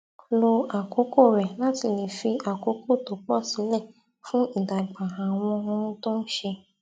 lo àkókò rè láti lè fi àkókò tó pọ sílẹ fún ìdàgbà àwọn ohun tó n ṣe